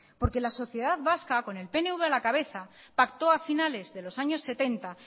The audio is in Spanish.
porque la sociedad vasca con el pnv a la cabeza pactó a finales de los años setenta